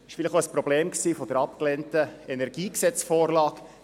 Dies war wohl auch ein Problem bei der abgelehnten Energiegesetz-Vorlage.